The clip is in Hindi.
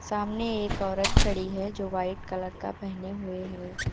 सामने एक औरत खड़ी है जो वाइट कलर का पहने हुए है।